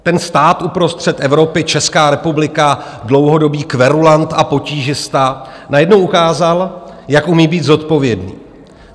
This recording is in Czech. Ten stát uprostřed Evropy, Česká republika, dlouhodobý kverulant a potížista, najednou ukázal, jak umí být zodpovědný.